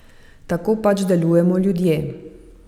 Tako pač delujemo ljudje.